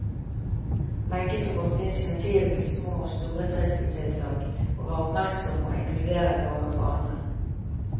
Wenche tok ofte initiativet til små og store trivselstiltak, og var oppmerksom og inkluderende overfor andre.